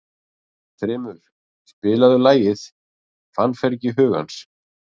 Þrymur, spilaðu lagið „Fannfergi hugans“.